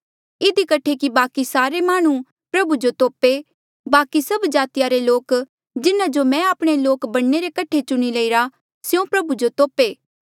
इधी कठे कि बाकि सारे माह्णुं प्रभु जो तोपे बाकि सभ जातिया रे लोक जिन्हा जो मैं आपणा लोक बणने रे कठे चुणी लईरे स्यों प्रभु जो तोपे